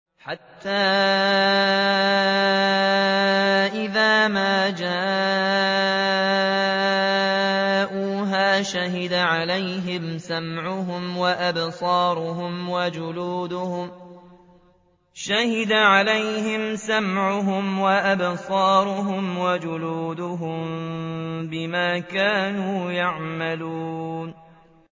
حَتَّىٰ إِذَا مَا جَاءُوهَا شَهِدَ عَلَيْهِمْ سَمْعُهُمْ وَأَبْصَارُهُمْ وَجُلُودُهُم بِمَا كَانُوا يَعْمَلُونَ